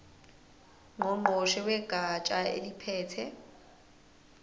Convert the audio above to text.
ngqongqoshe wegatsha eliphethe